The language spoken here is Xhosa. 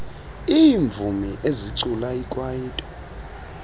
iimvumi ezicula ikwaito